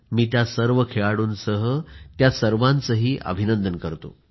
मी त्या सर्व खेळाडूंसह त्या सर्वांचे अभिनंदन करतो